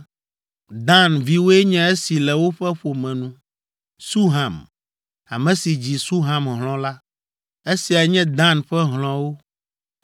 Dan viwoe nye esi le woƒe ƒome nu: Suham, ame si dzi Suham hlɔ̃ la. Esiae nye Dan ƒe hlɔ̃wo: